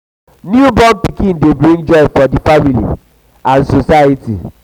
newborn pikin de bring joy for di family and di family and society